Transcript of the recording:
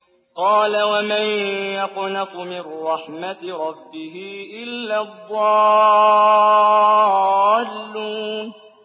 قَالَ وَمَن يَقْنَطُ مِن رَّحْمَةِ رَبِّهِ إِلَّا الضَّالُّونَ